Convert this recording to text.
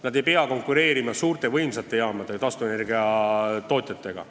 Nad ei pea konkureerima suurte võimsate taastuvenergiatootjatega.